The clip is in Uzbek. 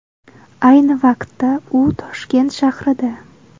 Ayni vaqtda u Toshkent shahrida.